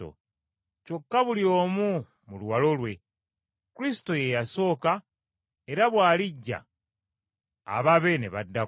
Kyokka buli omu mu luwalo lwe, Kristo ye yasooka era bw’alijja ababe ne baddako,